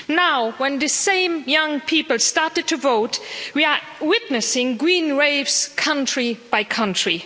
Now, when these same young people have started to vote, we are witnessing green waves, country by country.